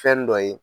Fɛn dɔ ye